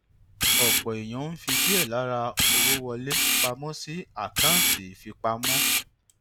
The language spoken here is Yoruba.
ọpọ èèyàn ń fi díè lára owó wọlé pa mó sí àkáǹtì ìfipamọ